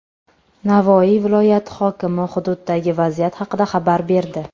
Navoiy viloyati hokimi hududdagi vaziyat haqida xabar berdi.